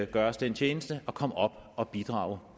gør os den tjeneste at komme op og bidrage